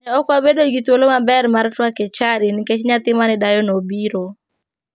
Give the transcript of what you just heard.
Ne ok wabedo gi thuolo maber mar twak e chadi nikech nyathi mane dayono obiro.